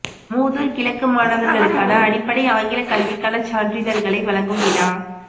மூதூர் கிழக்கு மாணவர்களுக்கான அடிப்படை ஆங்கில கல்விக்கான சான்றிதழ்களை வழங்கும் விழா